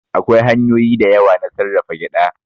Akwai hanyoyi da yawa na sarrafa gyaɗa.